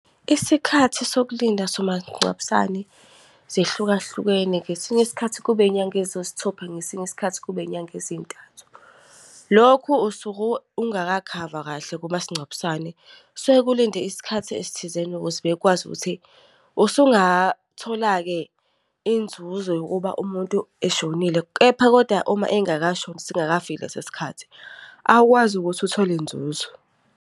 Isikhathi sokulinda somasingcwabisane, zihlukahlukene. Ngesinye isikhathi kuba inyanga eziyisithupha, ngesinye isikhathi kuba inyanga ezintathu. Lokhu usuke ungakakhavwa kahle kumasingcwabisane, kusuke ulinde isikhathi esithizeni ukuze bekwazi ukuthi usungathola-ke inzuzo yokuba umuntu eshonile. Kepha kodwa uma engakashoni singakafiki lesi sikhathi, awukwazi ukuthi uthole inzuzo.